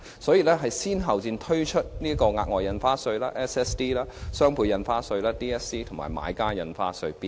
為此當局先後推出額外印花稅、雙倍印花稅及買家印花稅。